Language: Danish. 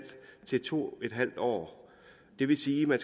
år til to en halv år det vil sige at man